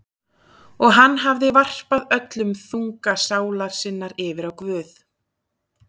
Og hann hafði varpað öllum þunga sálar sinnar yfir á Guð.